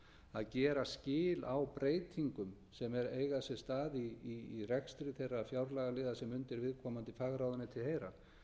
að gera skil á breytingum sem eiga sér stað í rekstri þeirra fjárlagaliða sem undir viðkomandi fagráðuneyti heyra